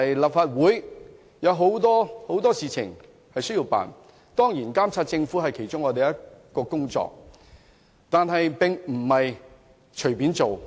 立法會有很多事情要處理，當然，監察政府是我們的工作之一，但我們不能夠隨隨便便。